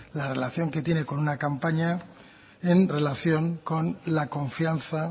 la relación que tiene con una campaña en relación con la confianza